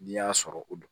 N'i y'a sɔrɔ o don